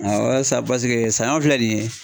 Awɔ sisan paseke sanɲɔ filɛ nin ye.